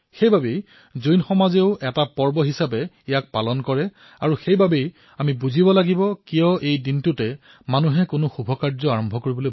জৈন সমাজে ইয়াক পৰ্ব হিচাপে পালন কৰে আৰু আজিৰ দিনটোতেই যিকোনো শুভ কাৰ্য আৰম্ভ কৰে